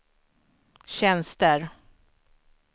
tjänster